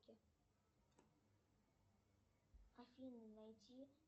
афина найди